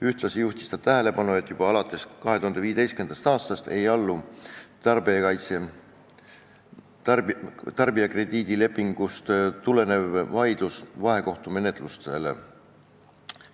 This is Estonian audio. Ühtlasi juhtis ta tähelepanu, et juba alates 2015. aastast ei allu tarbijakrediidilepingust tulenev vaidlus vahekohtumenetlustele.